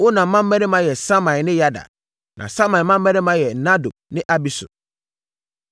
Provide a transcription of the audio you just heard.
Onam mmammarima yɛ Samai ne Yada. Na Samai mmammarima yɛ Nadab ne Abisur.